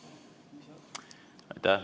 Aitäh!